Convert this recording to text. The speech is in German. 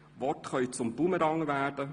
Worte können zum Bumerang werden.